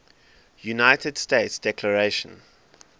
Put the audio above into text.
united states declaration